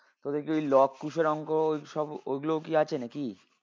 তোদের কি ওই লব কুশের অঙ্ক ওই সব ওগলোউ কি আছে নাকি?